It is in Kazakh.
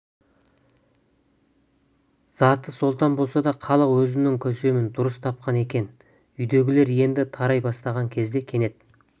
заты сұлтан болса да халық өзінің көсемін дұрыс тапқан екен үйдегілер енді тарай бастаған кезде кенет